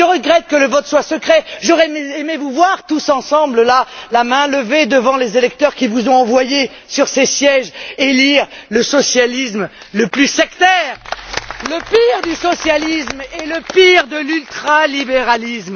Je regrette que le vote soit secret j'aurais aimé vous voir là tous ensemble, la main levée, devant les électeurs qui vous ont envoyé sur ces sièges élire le socialisme le plus sectaire, le pire du socialisme et le pire de l'ultralibéralisme.